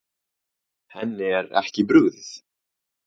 Henni er ekki brugðið.